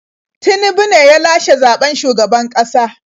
Tinubu ne ya lashe zaɓen shugaban ƙasa.